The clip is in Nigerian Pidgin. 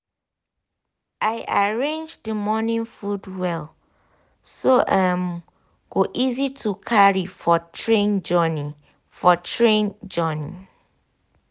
i arrange the morning food well so e um go easy to carry for train journey. for train journey.